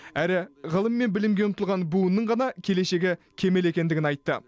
әрі ғылым мен білімге ұмтылған буынның ғана келешегі кемел екендігін айтты